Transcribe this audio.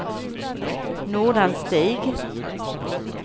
Nordanstig